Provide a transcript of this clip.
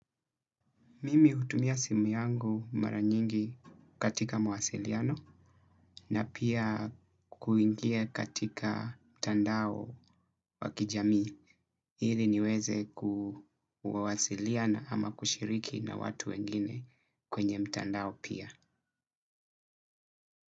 Mimi hutumia simu yangu mara nyingi katika mawasiliano na pia kuingia katika mtandao wakijamii. Hili niweze kuwasiliana ama kushiriki na watu wengine kwenye mtandao pia.